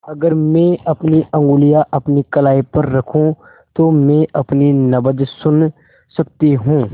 अगर मैं अपनी उंगलियाँ अपनी कलाई पर रखूँ तो मैं अपनी नब्ज़ सुन सकती हूँ